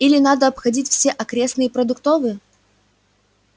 или надо обходить все окрестные продуктовые